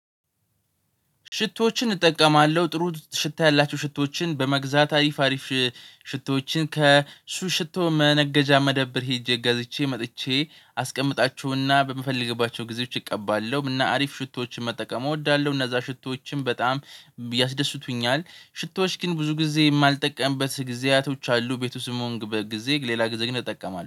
ሽቶዎችን እጠቀማለሁ ጥሩ ሽታ ያላቸው ሽቶዎችን በመግዛት አሪፍ አሪፍ ሽቶዎችን ከሱቅ ሽቶ መነገጃ መደብር ሄጄ እጋዝቼ መጥቼ አስቀምጣችሁና በምፈልግባቸው ጊዜዎች እቀባለሁ እና አሪፍ ሽቶዎችን መጠቀም እወዳለሁ። እነዛ ሽቶዎችን በጣም ያስደስቱኛል ሽቶዎች ግን ብዙ ጊዜ የማልጠቀምበት ጊዜያቶች አሉ። ቤቱ ውስጥ እምሆንበት ጊዜ ሌላ ጊዜ ግን እጠቀማለሁ